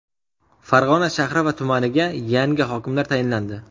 Farg‘ona shahri va tumaniga yangi hokimlar tayinlandi.